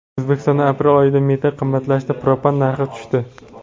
O‘zbekistonda aprel oyida metan qimmatlashdi, propan narxi tushdi.